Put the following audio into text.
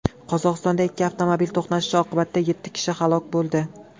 Qozog‘istonda ikki avtomobil to‘qnashishi oqibatida yetti kishi halok bo‘ldi.